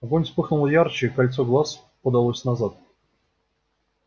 огонь вспыхнул ярче и кольцо глаз подалось назад